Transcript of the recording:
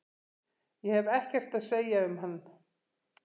Ég hef ekkert að segja um hann.